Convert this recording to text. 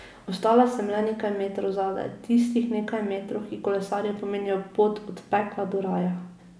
Ostal sem le nekaj metrov zadaj, tistih nekaj metrov, ki kolesarju pomenijo pot od pekla do raja.